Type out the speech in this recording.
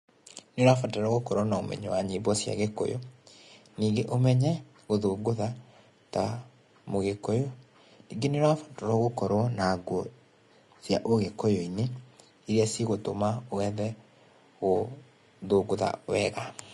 Nī ūrabata gūkorwo na ūmenyo wa nyīmbo cīa gīkūyū nīīgī ūmethe gūthogūtha ta mūgīkūyū nīīgīe nīūrabatarwo ūkorwo na nguo cia ūgīkūyū-inī īrīa cī gūtūma wethe gūthūgūtha wega.